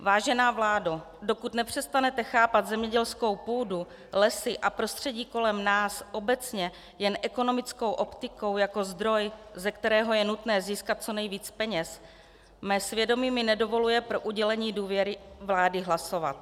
Vážená vládo, dokud nepřestanete chápat zemědělskou půdu, lesy a prostředí kolem nás obecně jen ekonomickou optikou jako zdroj, ze kterého je nutné získat co nejvíc peněz, mé svědomí mi nedovoluje pro udělení důvěry vlády hlasovat.